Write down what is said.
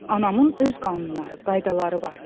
Anamın öz qanunları, qaydaları var.